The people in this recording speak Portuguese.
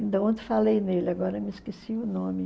Então, ontem falei nele, agora me esqueci o nome.